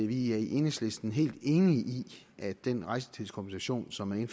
vi i enhedslisten er helt enige i at den rejsetidskompensation som man